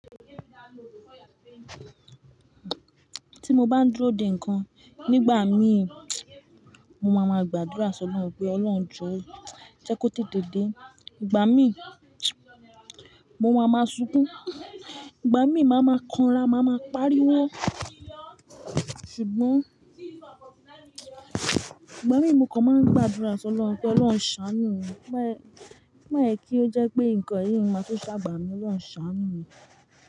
Ti mo bá ń dúró dè ńǹkan, nígbà mí, mo máa ma gbàdúrà sọ lọ́run pé Ọlọ́run jọ́, jẹ́ kó tètè dé. Ìgbà mí, mo máa ma sunkún. Ìgbà mí, màá ma kanra, màá ma pariwo. Ṣùgbọ́n ìgbà mí, mo kàn máa ń gbàdúrà sọ lọ́run pé Ọlọ́run ṣàánú mi. Má jè kí ó jẹ́ pé nǹkan ẹ̀rí mi máa tu ṣàgbà mí, Ọlọ́run ṣàánú mi.